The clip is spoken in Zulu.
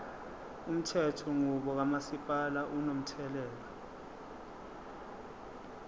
umthethonqubo kamasipala unomthelela